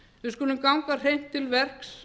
við skulum ganga hreint til verks